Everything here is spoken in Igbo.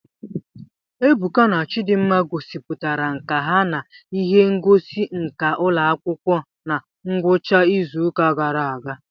Ebuka na Chidimma gosipụtara nkà ha n'ihe ngosi nka ụlọ akwụkwọ na ngwụcha izuụka gara aga